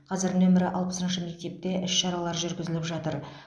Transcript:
қазір нөмір алпысыншы мектепте іс шаралар жүргізіліп жатыр